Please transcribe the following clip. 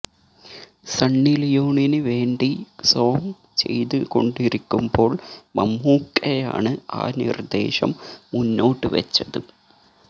സണ്ണിലിയോണിന് വേണ്ടി സോംഗ് ചെയ്ത് കൊണ്ടിരിക്കുമ്പോൾ മമ്മൂക്കയാണ് ആ നിർദേശം മുന്നോട്ട് വച്ചത്